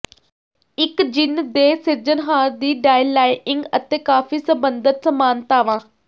ਇਕਜਿਨ ਦੇ ਸਿਰਜਣਹਾਰ ਦੀ ਡਾਈਲਾਇੰਗ ਅਤੇ ਕਾਫ਼ੀ ਸੰਬੰਧਤ ਸਮਾਨਤਾਵਾਂ